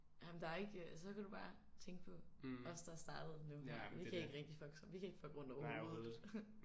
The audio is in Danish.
Jamen der er ikke så kan du bare tænke på os der er startet nu her vi kan ikke rigtig fucke så vi kan ikke fucke rundt overhovedet